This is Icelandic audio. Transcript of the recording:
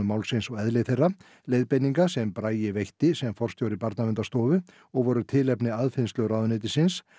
málsins og eðli þeirra leiðbeininga sem Bragi veitti sem forstjóri Barnaverndarstofu og voru tilefni aðfinnslu ráðuneytisins